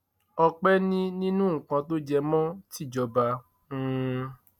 ọpẹ ni nínú nǹkan tó jẹ mọ tìjọba um